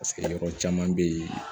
Paseke yɔrɔ caman be yen